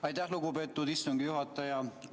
Aitäh, lugupeetud istungi juhataja!